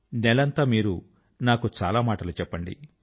నెలంతా మీరు నాకు చాలా మాటలు చెప్పండి